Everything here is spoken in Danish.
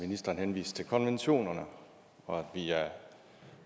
at ministeren henviste til konventionerne og at